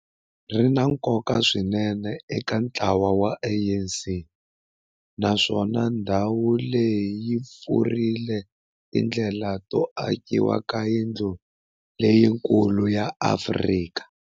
ri na nkoka swinene eka ntlawa wa ANC, naswona ndhawu leyi yi pfulrile tindlela to akiwa ka yindlu leyikulu ya Afrika